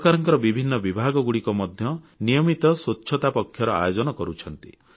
ସରକାରଙ୍କ ବିଭିନ୍ନ ବିଭାଗମାନେ ମଧ୍ୟ ନିୟମିତ ସ୍ୱଚ୍ଛତା ପକ୍ଷର ଆୟୋଜନ କରୁଛନ୍ତି